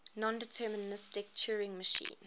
nondeterministic turing machine